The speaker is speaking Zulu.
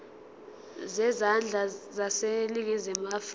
zezandla zaseningizimu afrika